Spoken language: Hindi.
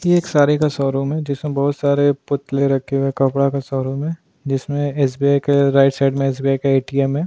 ये एक सारी का शोरूम है जिसे बहुत सारे पुतले रखे हुए कपड़ा का शोरूम में जिसमें एस_बी_आई के राइट साइड में एसबीआई का ए_टी_एम है।